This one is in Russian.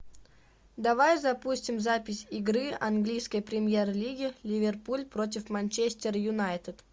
давай запустим запись игры английской премьер лиги ливерпуль против манчестер юнайтед